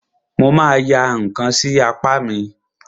Mo ma ya ǹkan sí apá mi.